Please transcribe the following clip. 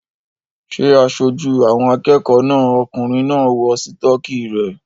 Ṣé aṣojú àwọn akẹ́kọ̀ọ́ náà okùnrin náà ń wọ sítọ́kì rẹ̀?